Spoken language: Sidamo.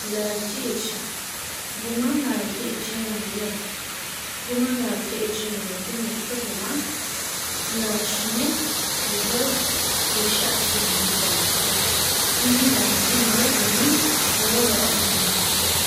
laalchi irsha guma laalchi irsha yaamo yaate guma laalchi irsh inmete mitto guma laalshine wirro irsha assinanni garaati yaate kuni laalchi nowe gumi lowo horo aannaho